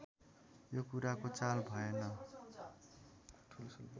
यो कुराको चाल भएन